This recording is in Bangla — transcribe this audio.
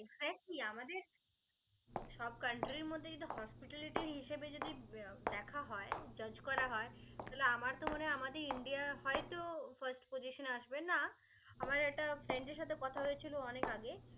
exactly আমাদের সব country র মধ্যে যদি hospitality হিসেবে যদি দেখা হয় judge করা হয়. তাহলে আমার তো মনে হয় আমাদের ইন্ডিয়া হয়তো first position এ আসবে না. আমার একটা friend এর সাথে কথা হয়েছিলো অনেক আগে.